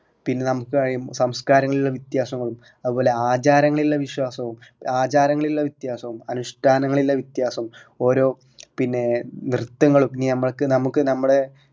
പിന്നെ നമ്മക്ക് ആ സംസ്കാരങ്ങളിലെ വ്യത്യാസങ്ങളും അത്പോലെ ആചാരങ്ങളിൽ ഇള്ള വിശ്വാസവും ആചാരങ്ങളിൽ ഇള്ള വ്യത്യാസവും അനുഷ്ട്ടാനകളിൽ ഇള്ള വ്യത്യാസം ഓരോ പിന്നെ നൃത്തങ്ങൾ നമക്ക് നമക്ക് നമ്മളെ നമ്മുടെ